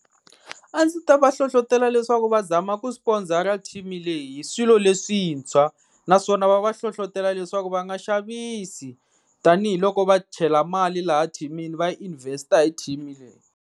A ndzi ta va hlohlotela leswaku va zama ku sponsor leyi hi swilo leswintshwa, naswona va va hlohlotela leswaku va nga xavisi tanihiloko va chela mali laha thimini va invest hi team leyi.